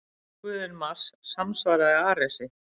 Rómverski guðinn Mars samsvaraði Aresi.